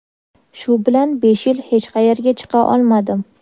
Shu bilan besh yil hech qayerga chiqa olmadim.